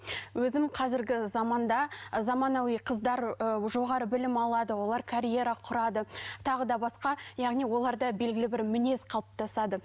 өзім қазіргі заманда заманауи қыздар ы жоғары білім алады олар карьера құрады тағы да басқа яғни оларда белгілі бір мінез қалыптасады